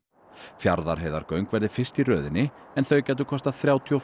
Fjarðarheiðargöng verði fyrst í röðinni en þau gætu kostað þrjátíu og